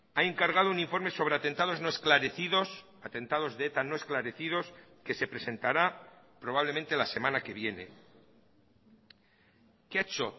ha encargado un informe sobre atentados no esclarecidos atentados de eta no esclarecidos que se presentará probablemente la semana que viene qué ha hecho